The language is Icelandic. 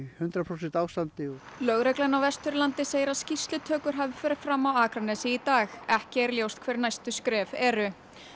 hundrað prósent ástandi lögreglan á Vesturlandi segir að skýrslutökur hafi farið fram á Akranesi í dag ekki er ljóst hver næstu skref eru